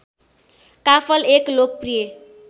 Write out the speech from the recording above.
काफल एक लोकप्रिय